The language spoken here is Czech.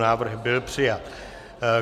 Návrh byl přijat.